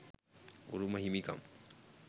උරුම හිමිකම්,